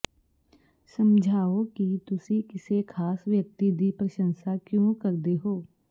ਸਮਝਾਓ ਕਿ ਤੁਸੀਂ ਕਿਸੇ ਖਾਸ ਵਿਅਕਤੀ ਦੀ ਪ੍ਰਸ਼ੰਸਾ ਕਿਉਂ ਕਰਦੇ ਹੋ